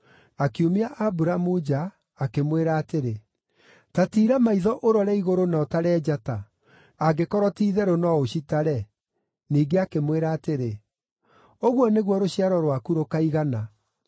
Akiumia Aburamu nja, akĩmwĩra atĩrĩ, “Ta tiira maitho ũrore igũrũ na ũtare njata, angĩkorwo ti-itherũ no ũcitare.” Ningĩ akĩmwĩra atĩrĩ, “Ũguo nĩguo rũciaro rwaku rũkaigana.”